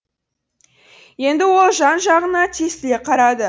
енді ол жан жағына тесіле қарады